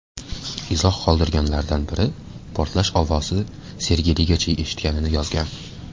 Izoh qoldirganlardan biri portlash ovozi Sergeligacha eshitilganini yozgan.